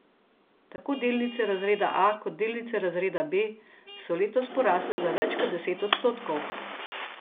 Tako delnice razreda A kot delnice razreda B so letos porasle za več kot deset odstotkov.